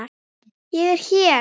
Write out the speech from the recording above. Ég er hér!